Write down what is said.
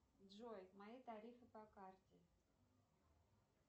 джой мои тарифы по карте